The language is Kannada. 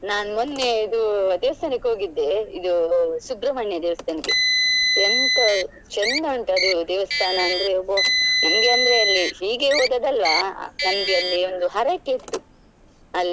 ನಾನು ಮೊನ್ನೆ ಇದು ದೇವಸ್ಥಾನಕ್ಕೆ ಹೋಗಿದ್ದೆ ಇದು ಸುಬ್ರಮಣ್ಯ ದೇವಸ್ಥಾನಕ್ಕೆ ಎಂತ ಚಂದ ಉಂಟು ಅದು ದೇವಸ್ಥಾನ ಅಂದ್ರೆ ಒಬ್ಬೊ ನನ್ಗೆ ಅಂದ್ರೆ ಅಲ್ಲಿ ಹೀಗೆ ಹೋದದಲ್ವ ನಂಗೆ ಅಲ್ಲಿ ಒಂದು ಹರಕೆ ಇತ್ತು ಅಲ್ಲಿ.